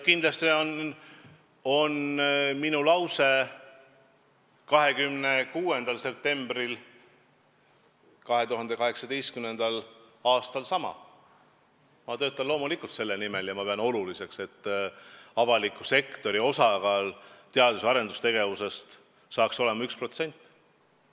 Kindlasti on minu lause 26. septembril 2018. aastal sama: ma töötan loomulikult selle nimel ja ma pean oluliseks, et avaliku sektori osakaal teadus- ja arendustegevuse eelarves saaks olema 1%.